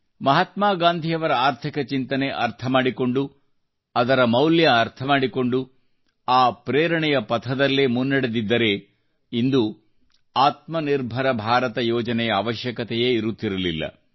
ಮಹಾತ್ಮಾ ಗಾಂಧಿಯವರ ಆರ್ಥಿಕ ಚಿಂತನೆಯನ್ನು ಅರ್ಥ ಮಾಡಿಕೊಂಡು ಅದರ ಮೌಲ್ಯವನ್ನು ಅರ್ಥಮಾಡಿಕೊಂಡು ಆ ಪ್ರೇರಣೆಯ ಪಥದಲ್ಲೇ ಮುನ್ನಡೆದಿದ್ದರೆ ಇಂದು ಭಾರತದ ಆತ್ಮನಿರ್ಭರ ಯೋಜನೆಯ ಅವಶ್ಯಕತೆಯೇ ಇರುತ್ತಿರಲಿಲ್ಲ